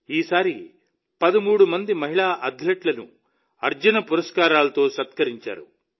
ఈసారి 13 మంది మహిళా అథ్లెట్లను అర్జున పురస్కారంతో సత్కరించారు